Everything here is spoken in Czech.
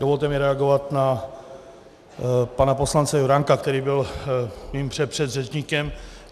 Dovolte mi reagovat na pana poslance Juránka, který byl mým předpředřečníkem.